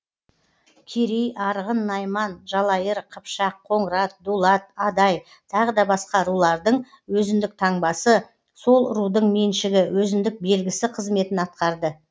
керей арғын найман жалайыр қыпшақ қоңырат дулат адай тағы да басқа рулардың өзіндік таңбасы сол рудың меншігі өзіндік белгісі қызметін атқарды